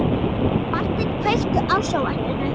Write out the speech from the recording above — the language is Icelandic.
Marteinn, kveiktu á sjónvarpinu.